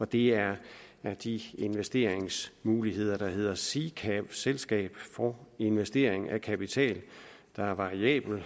det er er de investeringsmuligheder der hedder sikav selskab for investering af kapital der er variabel